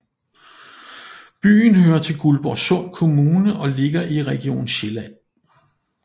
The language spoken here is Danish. Byen hører til Guldborgsund Kommune og ligger i Region Sjælland